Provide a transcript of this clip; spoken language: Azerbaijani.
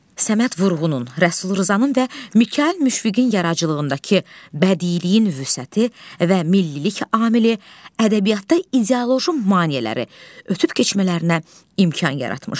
Səməd Vurğunun, Rəsul Rzanın və Mikayıl Müşfiqin yaradıcılığındakı bədiiliyin vüsəti və millilik amili ədəbiyyatda ideoloji maneələri ötüb keçmələrinə imkan yaratmışdı.